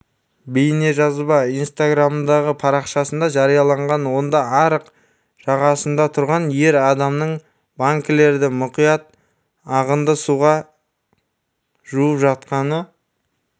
бейнежазба инстаграмдағы парақшасында жарияланған онда арық жағасында тұрған ер адамның банкілерді мұқият ағынды суға жуып жатқаны